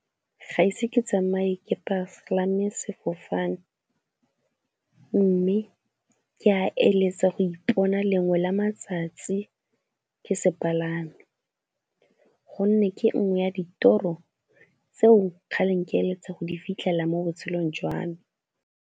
Ga ise ke tsamaye ke palame sefofane mme ke a eletsa go ipona lengwe la matsatsi ke se palame gonne ke nngwe ya ditoro tseo kgaleng ke eletsa go di fitlhela mo botshelong jwa me.